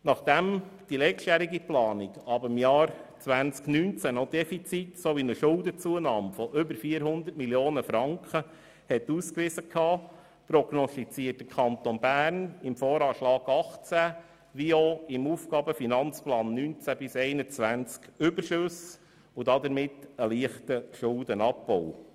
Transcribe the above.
Nachdem die letztjährige Planung ab dem Jahr 2019 noch ein Defizit und eine Schuldenzunahme von über 400 Mio. Franken aufwies, prognostiziert der Kanton Bern im VA 2018 wie auch im AFP 2019– 2021 Überschüsse und damit einen leichten Schuldenabbau.